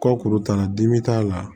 Kɔkuru t'a la dimi t'a la